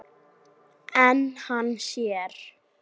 En hann sér.